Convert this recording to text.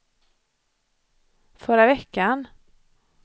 förra veckan